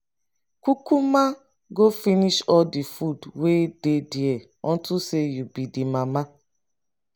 kukuma go finish all the food wey dey there unto say you be the mama.